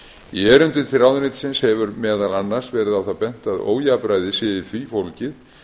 í erindum til ráðuneytisins hefur meðal annars verið á það bent að ójafnræði sé í því fólgið